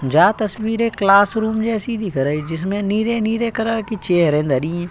जहां तस्वीर एक क्लासरूम जैसी दिख रही जिसमें नीले-नीले कलर की चेयरे धरी।